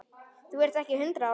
Þú ert ekki hundrað ára!